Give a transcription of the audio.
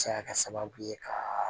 Se ka kɛ sababu ye ka